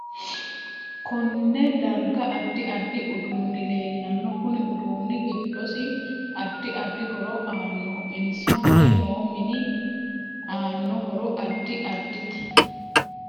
Konne darga addi addi uduuni leelanno kuni uduuni giddosi addi addi horo aanoho insa mule noo mini aano horo addi addite